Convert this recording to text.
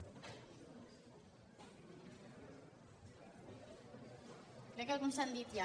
crec que alguns s’han dit ja